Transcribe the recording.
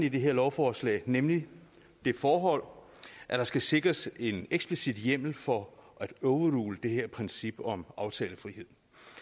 i det her lovforslag nemlig det forhold at der skal sikres en eksplicit hjemmel for at overrule det her princip om aftalefrihed